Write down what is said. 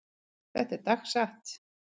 Þetta er dagsatt.